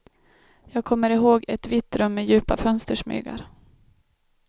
Jag kommer ihåg ett vitt rum med djupa fönstersmygar.